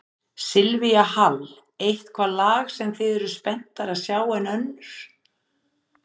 Silvía Hall: Eitthvað lag sem þið eruð spenntari að sjá en önnur?